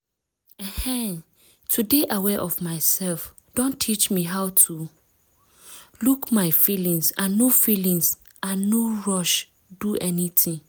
ehn to dey aware of myself don teach me how to pause look my feelings and no feelings and no rush do anything.